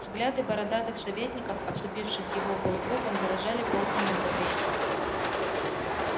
взгляды бородатых советников обступивших его полукругом выражали полное неодобрение